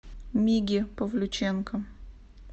миге павлюченко